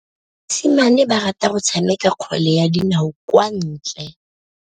Basimane ba rata go tshameka kgwele ya dinaô kwa ntle.